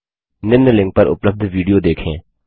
निम्न लिंक पर उपलब्ध विडियो देखें